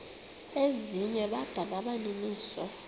ezinye bada nabaninizo